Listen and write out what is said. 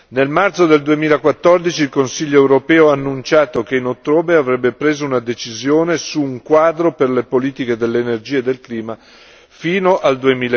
Nel marzo del 2014 il Consiglio europeo ha annunciato che in ottobre avrebbe preso una decisione su un quadro per le politiche dell'energia e del clima fino al